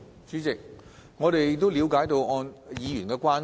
主席，我們了解議員的關注。